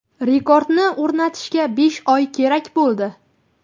Rekordni o‘rnatishga besh oy kerak bo‘ldi.